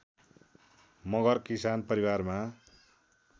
मगर किसान परिवारमा